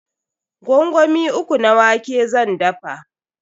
Gwangwami uku na wake zan dafa.